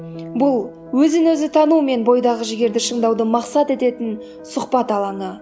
бұл өзін өзі тану мен бойдағы жігерді шыңдауды мақсат ететін сұхбат алаңы